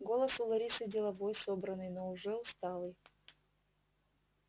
голос у ларисы деловой собранный но уже усталый